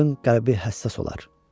Qadın qəlbi həssas olar.